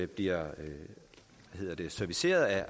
bliver serviceret af